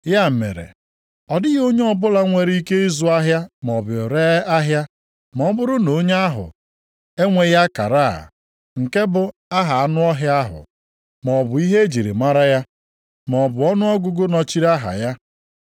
Ya mere, ọ dịghị onye ọbụla nwere ike ịzụ ahịa maọbụ ree ahịa ma ọ bụrụ na onye ahụ enweghị akara a, nke bụ aha anụ ọhịa ahụ, maọbụ ihe e ji mara ya, maọbụ ọnụọgụgụ nọchiri aha ya.